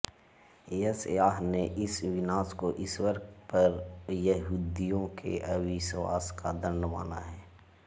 यशयाह ने इस विनाश को ईश्वर पर यहूदिययों के अविश्वास का दंड माना है